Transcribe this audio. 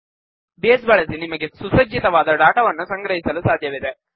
base ಬಳಸಿ ನಿಮಗೆ ಸುಸಜ್ಜಿತವಾದ ಡಾಟಾವನ್ನು ಸಂಗ್ರಹಿಸಲು ಸಾಧ್ಯವಿದೆ